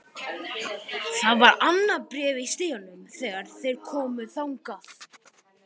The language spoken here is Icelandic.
Það var annað bréf í stiganum þegar þeir komu þangað.